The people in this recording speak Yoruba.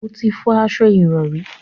O ò tí ì fọ aṣo ìrọrí